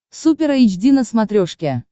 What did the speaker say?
супер эйч ди на смотрешке